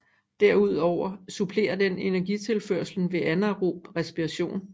Derudover supplerer den energitilførslen ved anaerob respiration